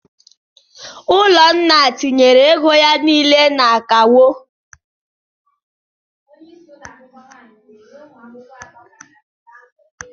Ụlọnna tinyere ego ya niile na akawo.